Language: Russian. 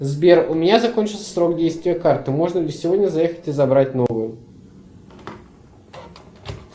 сбер у меня закончился срок действия карты можно ли сегодня заехать и забрать новую